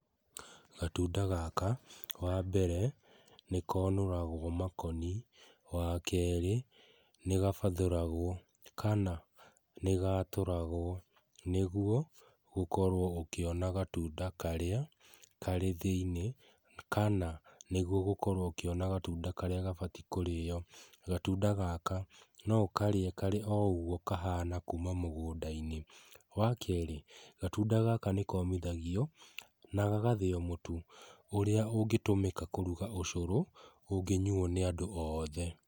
Gatunda gaka wa mbere nĩ konũragwo makoni, wa kerĩ nĩ gabathũragwo kana nĩ gatũragwo nĩguo gũkorwo gũkĩonwo gatunda karĩa karĩ thĩinĩ kana nĩguo gũkorwo ũkĩona gatunda karĩa gabatie kũrĩo, gatunda gaka no ũkarĩe karĩ oro ũguo kahana kuma mũgũnda-inĩ wa kerĩ gatunda gaka nĩ komithagio na gagathĩo mũtu ũrĩa ũngĩtũmĩka kũruga ũcũrũ ũngĩnyuo nĩ andũ othe.